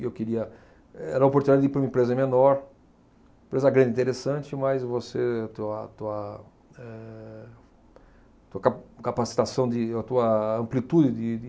E eu queria... Era a oportunidade de ir para uma empresa menor, empresa grande, interessante, mas você... tua, tua eh, tua ca, capacitação de, a tua amplitude de, de